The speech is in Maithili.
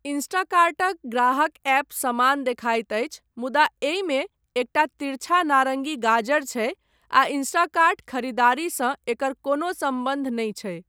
इंस्टाकार्टक ग्राहक ऐप समान देखाइत अछि मुदा एहिमे एकटा तिरछा नारङ्गी गाजर छै आ इंस्टाकार्ट खरीदारीसँ एकर कोनो सम्बन्ध नहि छै।